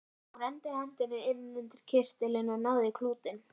Hún renndi hendinni inn undir kyrtilinn og náði í klútinn.